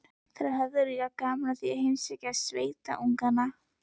Þær höfðu líka gaman af að heimsækja sveitungana.